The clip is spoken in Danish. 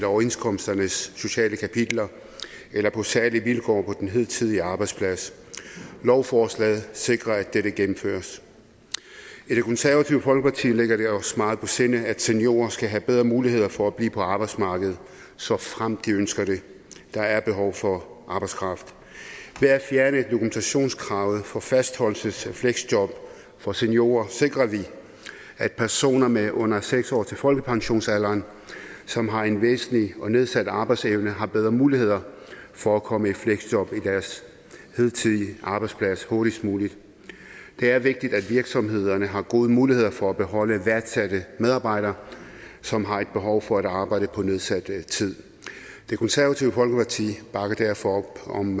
overenskomstens sociale kapitler eller på særlige vilkår på den hidtidige arbejdsplads lovforslaget sikrer at det vil gennemføres i det konservative folkeparti ligger det os meget på sinde at seniorer skal have bedre muligheder for at blive på arbejdsmarkedet såfremt de ønsker det der er behov for arbejdskraft ved at fjerne dokumentationskravet for fastholdelsesfleksjob for seniorer sikrer vi at personer med under seks år til folkepensionsalderen som har en væsentligt nedsat arbejdsevne har bedre muligheder for at komme i fleksjob på deres hidtidige arbejdsplads hurtigst muligt det er vigtigt at virksomhederne har gode muligheder for at beholde værdsatte medarbejdere som har et behov for at arbejde på nedsat tid det konservative folkeparti bakker derfor op om